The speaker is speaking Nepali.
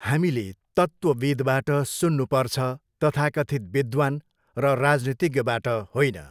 हामीले तत्त्वविद्बाट सुन्नुपर्छ तथाकथित विद्वान् र राजनीतिज्ञबाट होइन।